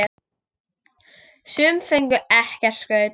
Sum fengu ekkert skraut.